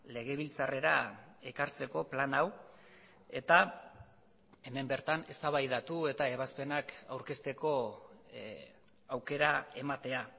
legebiltzarrera ekartzeko plan hau eta hemen bertan eztabaidatu eta ebazpenak aurkezteko aukera ematea